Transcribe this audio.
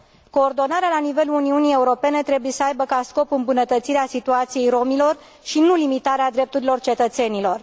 Coordonarea la nivelul Uniunii Europene trebuie să aibă ca scop îmbunătățirea situației romilor, și nu limitarea drepturilor cetățenilor.